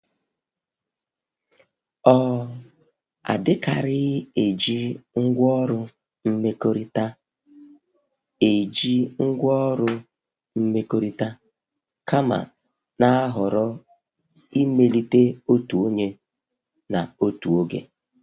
Ọ adikarighi eji ngwaorụ mmekọrita eji ngwaorụ mmekọrita kama na ahọrọ imelite otu onye na otu oge.